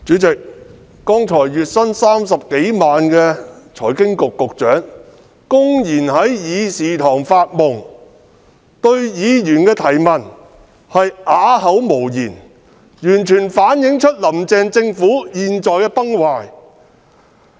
主席，剛才月薪30多萬元的財經事務及庫務局局長公然在議事堂發夢，對議員的質詢啞口無言，完全反映"林鄭"政府現在崩壞的情況。